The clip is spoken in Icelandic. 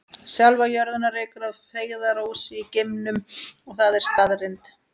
Sjálfa jörðina rekur að feigðarósi í geimnum og það er staðreynd.